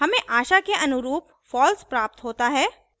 हमें आशा के अनुरूप false प्राप्त होता है